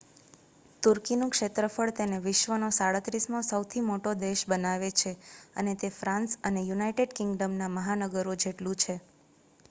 તુર્કીનું ક્ષેત્રફળ તેને વિશ્વનો 37મો સૌથી મોટો દેશ બનાવે છે અને તે ફ્રાન્સ અને યુનાઇટેડ કિંગડમના મહાનગરો જેટલું છે